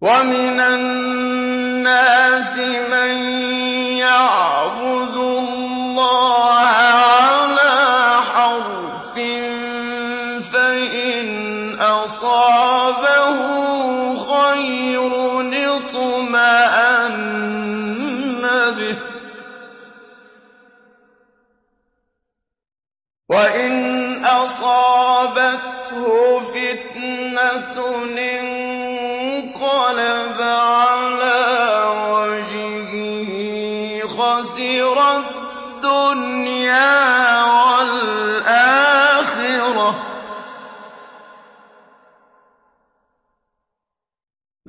وَمِنَ النَّاسِ مَن يَعْبُدُ اللَّهَ عَلَىٰ حَرْفٍ ۖ فَإِنْ أَصَابَهُ خَيْرٌ اطْمَأَنَّ بِهِ ۖ وَإِنْ أَصَابَتْهُ فِتْنَةٌ انقَلَبَ عَلَىٰ وَجْهِهِ خَسِرَ الدُّنْيَا وَالْآخِرَةَ ۚ